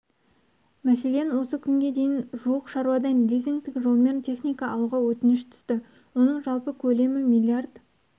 мәселен осы күнге дейін жуық шаруадан лизингтік жолмен техника алуға өтініш түсті оның жалпы көлемі миллиард